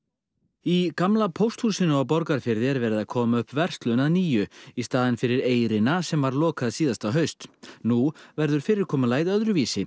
í gamla pósthúsinu á Borgarfirði er verið að koma upp verslun að nýju í staðinn fyrir eyrina sem var lokað síðasta haust nú verður fyrirkomulagið öðruvísi